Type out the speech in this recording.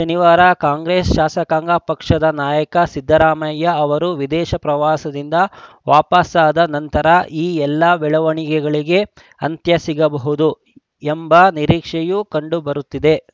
ಶನಿವಾರ ಕಾಂಗ್ರೆಸ್‌ ಶಾಸಕಾಂಗ ಪಕ್ಷದ ನಾಯಕ ಸಿದ್ದರಾಮಯ್ಯ ಅವರು ವಿದೇಶ ಪ್ರವಾಸದಿಂದ ವಾಪಸಾದ ನಂತರ ಈ ಎಲ್ಲ ಬೆಳವಣಿಗೆಗಳಿಗೆ ಅಂತ್ಯ ಸಿಗಬಹುದು ಎಂಬ ನಿರೀಕ್ಷೆಯೂ ಕಂಡುಬರುತ್ತಿದೆ